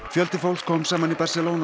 fjöldi fólks kom saman í